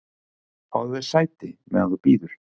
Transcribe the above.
"""Fáðu þér sæti, meðan þú bíður"""